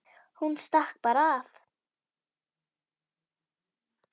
Hún stakk bara af.